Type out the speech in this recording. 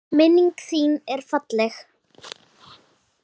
Minning þin er falleg.